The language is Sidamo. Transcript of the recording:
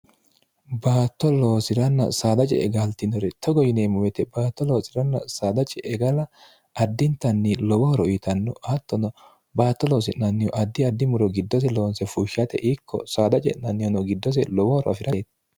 baatto loosiranna saada ce'e gaaltinore togo yineemmo wete baatto loosiranna saada ce'e gala addintanni lowo horo uyitanno hattono baatto loosi'nannihu addi addi muro giddose loonse fushshate ikko saada ce'nannihuno giddose lowo horo afirateti